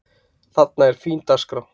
Þarna er fín dagskrá.